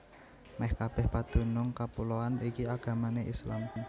Mèh kabèh padunung kapuloan iki agamané Islam